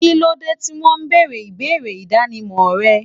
Kílódé tí won bèrè ìwé idánimò re?